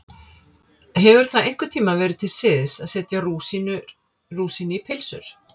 Hefur það einhvern tíma verið til siðs að setja rúsínu í pylsur?